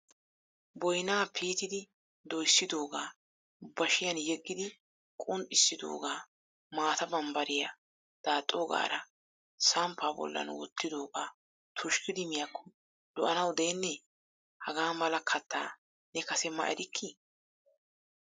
Boynna piitidi doyssidooga bashshiyan yeggidi qunxxissidooga maata bambbariya daaxogaara samppa bollan wottidooga tushkkidi miyakko lo"anaw deenne? Hagaa mala kattaa ne kase ma erilki?